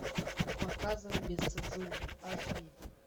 показывай без цензуры аш ди